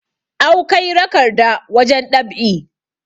awkai rakarda wajen ɗab'i